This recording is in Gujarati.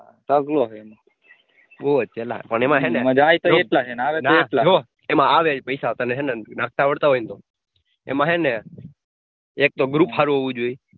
હું વચ્ચે લા માજા આઈ કે નાઈ ના જો માં આવે હે જો પૈસા તને હે ને નાખતા આવડત હોય ને તો એમાં હે ને એક તો group હારું હોવું જોઈએ.